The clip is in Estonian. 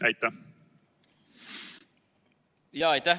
Jaa, aitäh!